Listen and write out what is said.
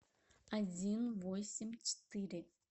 один восемь четыре